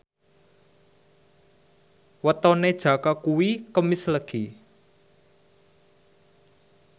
wetone Jaka kuwi Kemis Legi